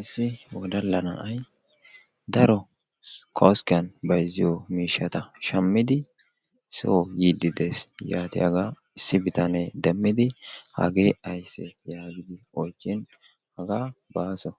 Issi wodalla na'ay daro koskkiyaan bayzziyoo miishshata shaammidi soo yiidi de'ees. yaatiyaagaa issi bitanee deemmidi hagee ayssee yaagidi oychchin hagaa baaso